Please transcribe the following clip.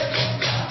গীত